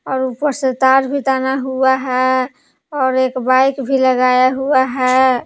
और ऊपर से तार भी ताना हुआ है और एक बाइक भी लगाया हुआ है।